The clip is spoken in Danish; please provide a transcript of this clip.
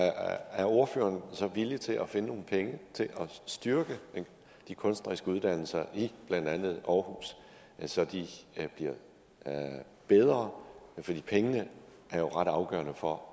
er ordføreren så villig til at finde nogle penge til at styrke de kunstneriske uddannelser i blandt andet aarhus så de bliver bedre for pengene er jo ret afgørende for